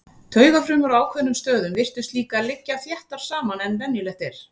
Taugafrumur á ákveðnum stöðum virtust líka liggja þéttar saman en venjulegt er.